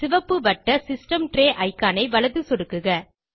சிவப்பு வட்ட system tray icon ஐ வலது சொடுக்குக